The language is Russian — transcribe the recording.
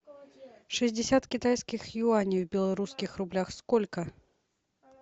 шестьдесят китайских юаней в белорусских рублях сколько